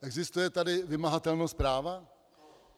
Existuje tady vymahatelnost práva?